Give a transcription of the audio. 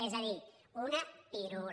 és a dir una pirula